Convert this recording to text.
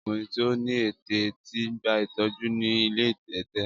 Ọkùnrin tí ó ní ẹ̀tẹ̀ ti gba ìtọ́jú ni ilé ẹ̀tẹ̀.